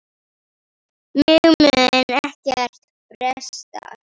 Mig mun ekkert bresta.